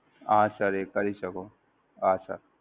હા Sir એ કરી શકો, હા Sir.